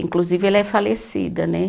Inclusive, ela é falecida, né?